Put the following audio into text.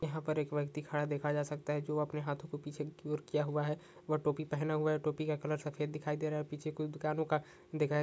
यहाँ पर एक व्यक्ति खड़ा देखा जा सकता जो अपनी हाथों को पीछे की ओर किया हुआ हैं व टोपी पहना हुआ हैं टोपी का कलर सफेद दिखाई दे रहा हैं और पीछे कोई दुकान वुकान दिखाई--